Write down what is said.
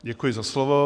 Děkuji za slovo.